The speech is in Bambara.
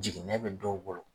Jiginɛ bɛ dɔw bolo